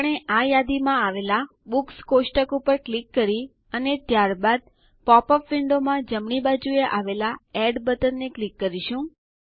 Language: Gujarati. આપણે આ યાદીમાં આવેલાં બુક્સ ટેબલ કોષ્ટક ઉપર ક્લિક કરી અને ત્યારબાદ પોપ અપ વિન્ડોમાં જમણી બાજુએ આવેલાં એડ બટનને ક્લિક કરી કરશું